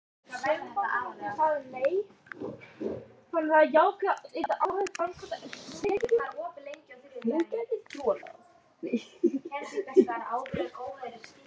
Að vera ekki feiminn við mig og ekki vorkenna mér!